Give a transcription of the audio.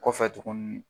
Kɔfɛ tuguni